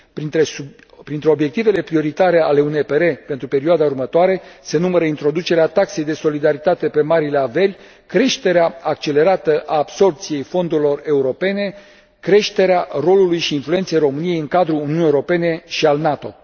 Printre obiectivele prioritare ale UNPR pentru perioada următoare se numără introducerea taxei de solidaritate pe marile averi, creșterea accelerată a absorbției fondurilor europene și creșterea rolului și influenței României în cadrul Uniunii Europene și al NATO.